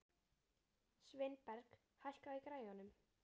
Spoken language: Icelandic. Sveinberg, hækkaðu í græjunum.